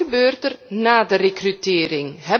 Maar wat gebeurt er na de rekrutering?